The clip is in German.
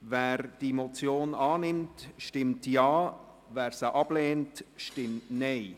Wer diese Motion annimmt, stimmt Ja, wer sie ablehnt, stimmt Nein.